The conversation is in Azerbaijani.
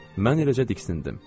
Mən eləcə diksindim.